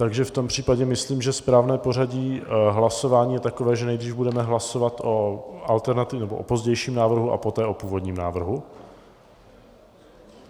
Takže v tom případě myslím, že správné pořadí hlasování je takové, že nejdřív budeme hlasovat o alternativním, nebo o pozdějším návrhu a poté o původním návrhu?